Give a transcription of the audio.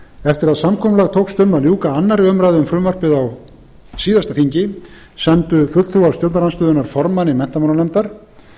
eftir að samkomulag tókst um að ljúka annarrar umræðu um frumvarpið á síðasta þingi sendu fulltrúar stjórnarandstöðunnar formanni menntamálanefndar